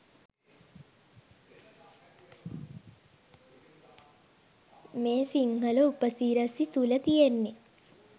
මේ සිංහල උපසිරසි තුල තියෙන්නෙ